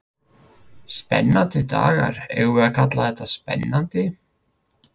Spennandi dagar, eigum við að kalla þetta spennandi?